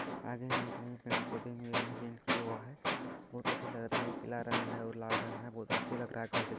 आगे में देखने में पेड़-पौधे में रंग पेंट किया हुआ है बहुत अच्छा लग रहा है देखने पीला रंग है और लाल रंग है बहुत अच्छे लग रहा घर देख --